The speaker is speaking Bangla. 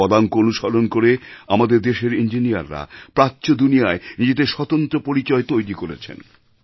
তার পদাঙ্ক অনুসরণ করে আমাদের দেশের ইঞ্জিনিয়াররা প্রাচ্য দুনিয়ায় নিজেদের স্বতন্ত্র পরিচয় তৈরি করেছেন